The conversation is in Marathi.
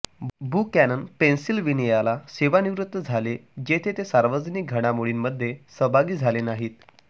बुकॅनन पेनसिल्व्हेनियाला सेवानिवृत्त झाले जेथे ते सार्वजनिक घडामोडींमध्ये सहभागी झाले नाहीत